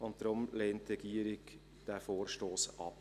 Deshalb lehnt die Regierung diesen Vorstoss ab.